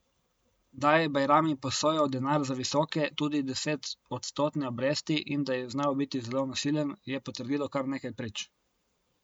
Da je Bajrami posojal denar za visoke, tudi desetodstotne obresti, in da je znal biti zelo nasilen, je potrdilo kar nekaj prič.